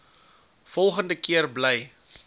volgende keer bly